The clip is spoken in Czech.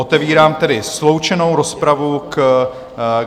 Otevírám tedy sloučenou rozpravu.